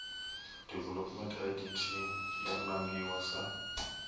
development idt yo nangiwa sa